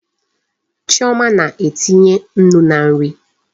Chioma na-etinye Nnu na nri